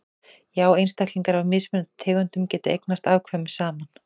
já einstaklingar af mismunandi tegundum geta eignast afkvæmi saman